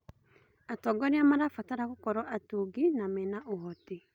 Atongoria marabatara gũkorwo atungi na mena ũhoti.